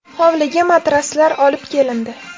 Hovliga matraslar olib kelindi.